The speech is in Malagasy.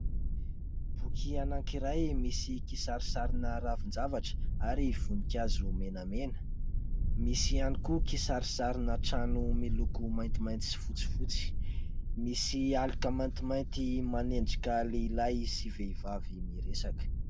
Boky anankiray misy kisarisarina ravin-javatra ary voninkazo menamena. Misy ihany koa kisarisarina trano miloko maintimainty sy fotsifotsy. Misy aloka maintimainty manendrika lehilahy sy vehivavy miresaka.